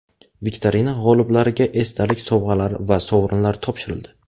Viktorina g‘oliblariga esdalik sovg‘alari va sovrinlar topshirildi.